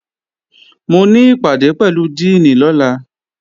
Mo ní ìpàdé pẹ̀lú díìnì lọ́la